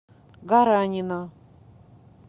гаранина